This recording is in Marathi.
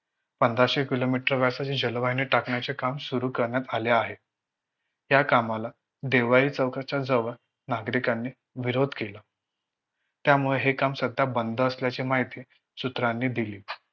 पंधराशे Kilometer असे जे जलवाहिनी टाकण्याचे काम सुरु करण्यात आले आहे. या कामाला देवळाई चौकाजवळ नागरिकांनी विरोध केला. त्यामुळे हे काम सध्या बंद असल्याचे माहिती सूत्रांनी दिली.